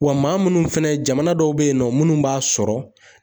Wa maa minnu fɛnɛ jamana dɔw be yen nɔ mnnu b'a sɔrɔ